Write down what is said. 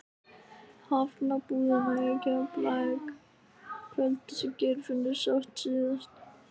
Hafnarbúðina í Keflavík kvöldið sem Geirfinnur sást síðast.